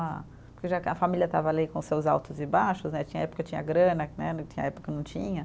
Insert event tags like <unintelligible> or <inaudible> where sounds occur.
<unintelligible> Porque já que a família estava ali com seus altos e baixos né, tinha época que tinha grana, tinha época que não tinha.